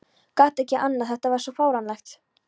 Gat ekki annað, þetta var svo fáránlegt.